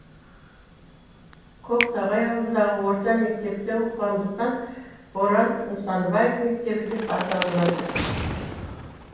көктоғай ауылындағы орта мектепте оқығандықтан боран нысанбаев мектебі деп аталынады